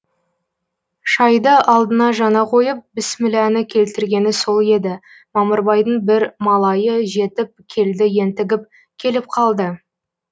шайды алдына жаңа койып біссміләні келтіргені сол еді мамырбайдың бір малайы жетіп келді ентігіп келіп калды